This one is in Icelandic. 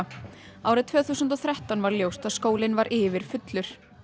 árið tvö þúsund og þrettán var ljóst að skólinn var yfirfullur